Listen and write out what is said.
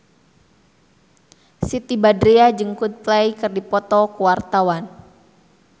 Siti Badriah jeung Coldplay keur dipoto ku wartawan